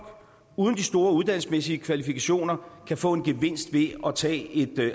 uden de store uddannelsesmæssige kvalifikationer kan få en gevinst ved at tage et